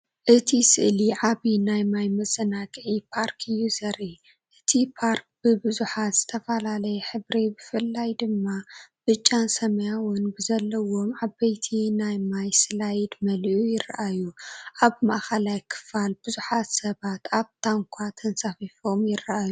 እቲ ስእሊ ዓቢ ናይ ማይ መዘናግዒ ፓርክ እዩ ዘርኢ። እቲ ፓርክ ብብዙሕ ዝተፈላለየ ሕብሪ ብፍላይ ድማ ብጫን ሰማያውን ብዘለዎም ዓበይቲ ናይ ማይ ስላይድ መሊኡ ይረኣዩ። ኣብ ማእከላይ ክፋል ብዙሓት ሰባት ኣብ ታንኳ ተንሳፊፎም ይረኣዩ።